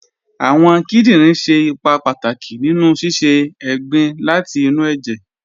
Awọn kìdìnrin ṣẹ̀ ìpà pátàkì nínu sísẹ̀ ègbìn láti inú ẹ̀jẹ̀